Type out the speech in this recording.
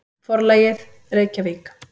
Forlagið: Reykjavík.